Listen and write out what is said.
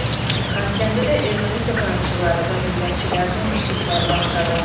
Xankəndidə erməni separatçıları və millətçilərinin mitinqləri başladı.